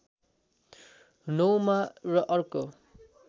९ मा र अर्को